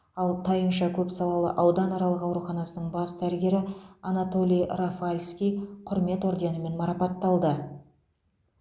ал тайынша көпсалалы ауданаралық ауруханасының бас дәрігері анатолий рафальский құрмет орденімен марапатталды